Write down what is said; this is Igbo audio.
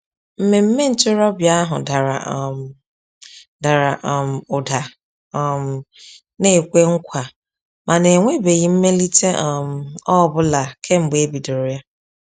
Mmemme ntorobịa ahụ dara um dara um ụda um na-ekwe nkwa, mana enwebeghị mmelite um ọ bụla kemgbe e bidoro ya.